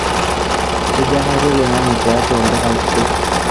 kejaa hali oloingange tiatua olduka kitok